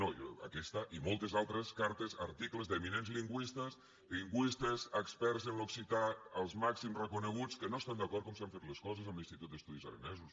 no aquesta i moltes altres cartes articles d’eminents lingüistes experts en l’occità els màxims reconeguts que no estan d’acord en com s’han fet les coses amb l’institut d’estudis aranesos